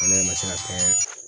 Kɛlɛ in ma se ka kɛ